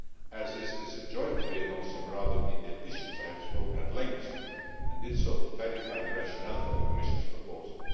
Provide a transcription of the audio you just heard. As this is a joint debate on some rather detailed issues, I have spoken at length and did so to clarify the rationale for the Commission's proposal.